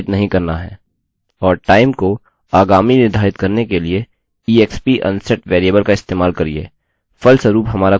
और time को आगामी निर्धारित करने के लिए exp unset वेरिएबलvariable का इस्तेमाल करिये फलस्वरूप हमारा कुकीcookie अनिर्धारित हो रहा है